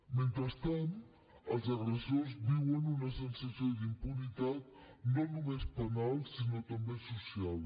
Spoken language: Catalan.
mentrestant els agressors viuen una sensació d’impunitat no només penal sinó també social